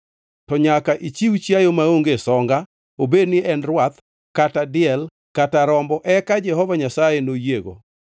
to nyaka ichiw chiayo maonge songa, obedni en rwath, kata diel kata rombo, eka Jehova Nyasaye noyiego.